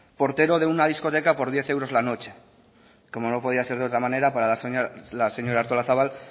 portero de una discoteca por diez euros la noche como no podía ser de otra manera para la señora artolazabal